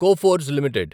Coforge limited